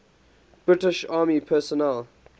british army personnel